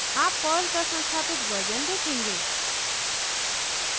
आप पर्ल का संस्थापित वर्जन देखेंगे